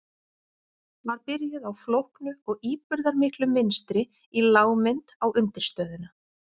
Var byrjuð á flóknu og íburðarmiklu mynstri í lágmynd á undirstöðuna.